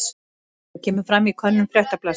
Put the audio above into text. Þetta kemur fram í könnun Fréttablaðsins